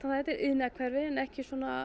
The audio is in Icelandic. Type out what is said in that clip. þetta er iðnaðarhverfi en ekki